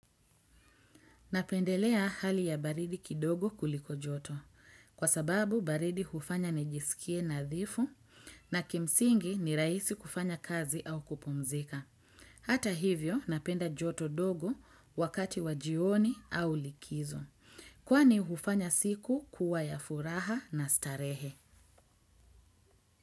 Napendelea hali ya baridi kidogo kuliko joto. Kwa sababu, baridi hufanya nijisikie nadhifu na kimsingi ni raisi kufanya kazi au kupumzika. Hata hivyo, napenda joto dogo wakati wa jioni au likizo. Kwa ni hufanya siku kuwa ya furaha na starehe.